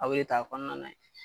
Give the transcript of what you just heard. Aw ye k'a kɔnɔna